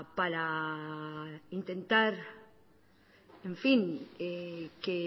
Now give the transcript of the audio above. para intentar en fin que